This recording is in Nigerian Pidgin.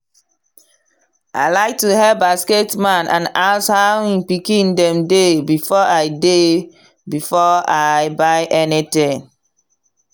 i like to hail basket man and ask how him pikin dem dey before i dey before i buy anything.